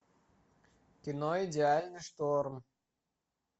кино идеальный шторм